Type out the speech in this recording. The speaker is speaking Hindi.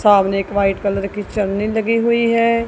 सामने एक व्हाईट कलर की चलनी लगी हुई है।